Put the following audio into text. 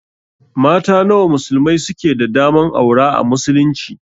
Mata nawa musulmai suke da daman aura a muslunci?